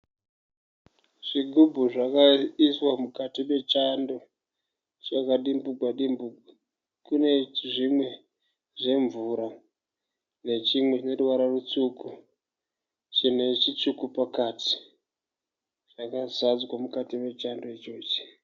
Zvigubhu zvakaiswa mukati mechando zvakadimbugwa dimbugwa. Kune zvimwe zvemvura nechimwe chine ruvara rutsvuku chine chitsvuku pakati. Zvakazadzwa mukati mechando ichochi.